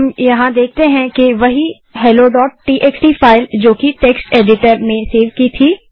हम देखते हैं कि वही helloटीएक्सटी फाइल जो कि यहाँ टेक्स्ट एडिटर में सेव की थी